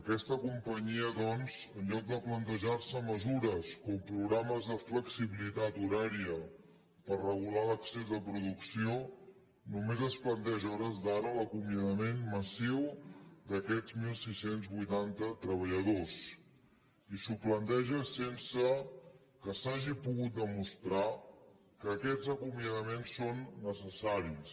aquesta companyia doncs en lloc de plantejar se mesures com programes de flexibilitat horària per regu lar l’excés de producció només es planteja a hores d’ara l’acomiadament massiu d’aquests setze vuitanta treballadors i s’ho planteja sense que s’hagi pogut demostrar que aquests acomiadaments són necessaris